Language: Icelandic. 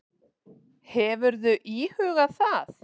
Hefurðu íhugað það?